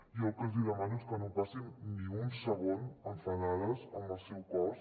jo el que els hi demano és que no passin ni un segon enfadades amb el seu cos